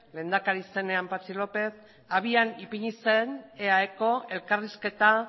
lehendakari zenean patxi lópez abian ipini zen eae ko elkarrizketa